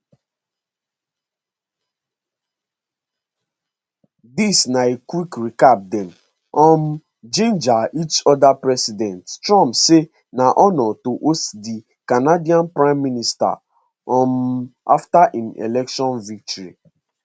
dis na a quick recap dem um ginger each odapresident trump say na honour to host di canadian prime minister um afta im election victory